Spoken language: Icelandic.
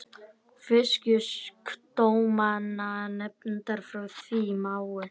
Fisksjúkdómanefndar frá því í maí.